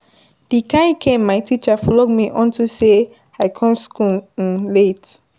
The kin cane my teacher flog me unto say I come school um late.